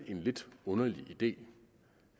lidt underlig idé